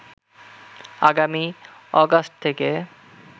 আগামী অগাস্ট থেকে